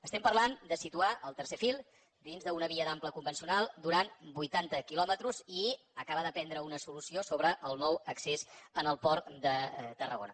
estem parlant de situar el tercer fil dins d’una via d’ample convencional durant vuitanta quilòmetres i acabar de prendre una solució sobre el nou accés al port de tarragona